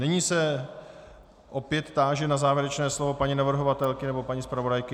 Nyní se opět táži na závěrečné slovo paní navrhovatelky nebo paní zpravodajky.